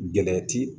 Gɛlɛya ti